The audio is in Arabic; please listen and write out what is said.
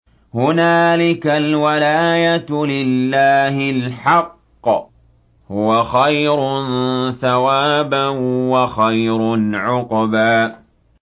هُنَالِكَ الْوَلَايَةُ لِلَّهِ الْحَقِّ ۚ هُوَ خَيْرٌ ثَوَابًا وَخَيْرٌ عُقْبًا